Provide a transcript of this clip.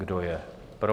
Kdo je pro?